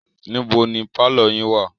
níbo ni pálọ̀ yín wà?